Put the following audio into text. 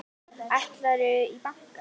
Ætlarðu í bankann?